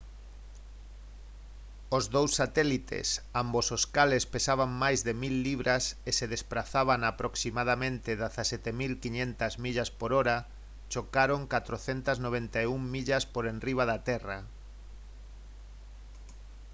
os dous satélites ambos os cales pesaban máis de 1000 libras e se desprazaban a aproximadamente 17 500 millas por hora chocaron 491 millas por enriba da terra